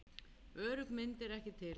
Örugg mynd er ekki til.